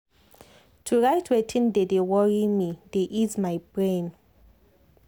to write wetin dey dey worry me dey ease my brain.